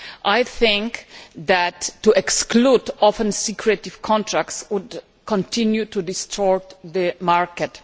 I think that to exclude often secretive contracts would continue to distort the market.